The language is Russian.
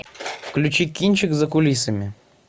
включи кинчик за кулисами